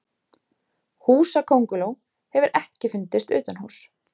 Húsakönguló hefur ekki fundist utanhúss.